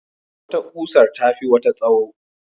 Wata kusar tafi wata tsawo.